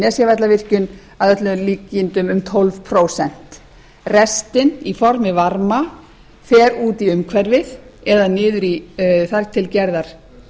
nesjavallavirkjun að öllum líkindum um tólf prósent restin í formi varma fer út í umhverfið eða niður í þar til gerðar